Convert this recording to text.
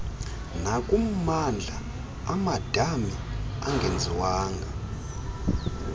nakummandla amadami angenziwanga